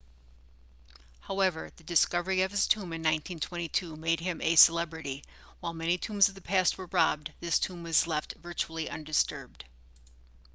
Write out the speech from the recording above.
however the discovery of his tomb in 1922 made him a celebrity while many tombs of the past were robbed this tomb was left virtually undisturbed